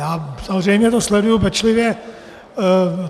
Já samozřejmě to sleduji pečlivě.